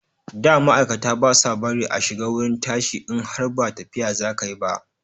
Da ma'aikata ba sa bari a shiga wurin tashi in har ba tafiya za ka yi ba.